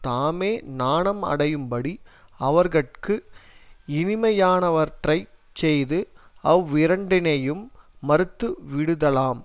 தாமே நாணம் அடையும்படி அவர்கட்கு இனிமையானவற்றைச் செய்து அவ்விரண்டினையும் மறுத்து விடுதலாம்